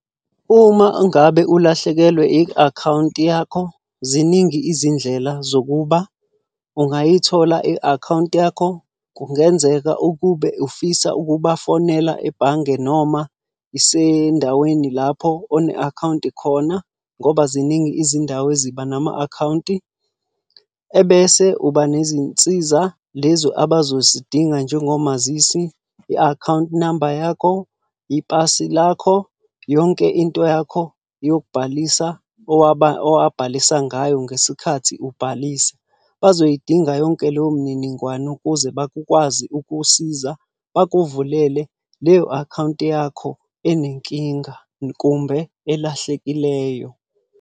Uma ngabe ulahlekelwe i-akhawunti yakho ziningi izindlela zokuba ungayithola i-akhawunti yakho. Kungenzeka ukube ufisa ukubafonela ebhange noma isendaweni lapho one-akhawunti khona, ngoba ziningi izindawo eziba nama-akhawunti. Ebese uba nezinsiza lezi abazozidinga njengomazisi, i-akhawunti number yakho, ipasi lakho, yonke into yakho yokubhalisa owabhalisa ngayo ngesikhathi ubhalisa. Bazoyidinga yonke leyo mniningwane ukuze bakwazi ukukusiza, bakuvulele leyo akhawunti yakho enenkinga kumbe elahlekileyo.